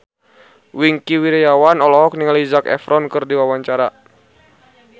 Wingky Wiryawan olohok ningali Zac Efron keur diwawancara